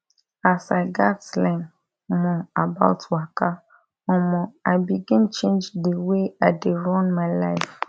as i gatz learn more about waka omo i begin change the way i dey run my life